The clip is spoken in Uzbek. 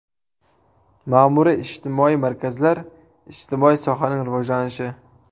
Ma’muriy-ijtimoiy markazlar, ijtimoiy sohaning rivojlanishi.